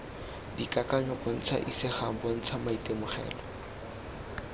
dikakanyo bontsha isegang bontsha maitemogelo